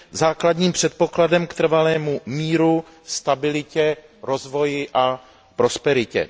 základním předpokladem k trvalému míru, stabilitě, rozvoji a prosperitě.